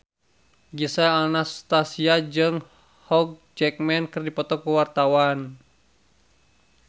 Gisel Anastasia jeung Hugh Jackman keur dipoto ku wartawan